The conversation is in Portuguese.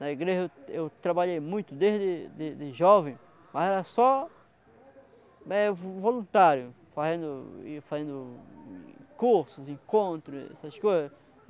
Na igreja eu eu trabalhei muito desde de de jovem, mas era só eh voluntário, fazendo... e fazendo cursos, encontros, essas coisas.